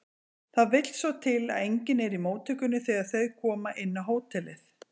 Það vill svo til að enginn er í móttökunni þegar þau koma inn á hótelið.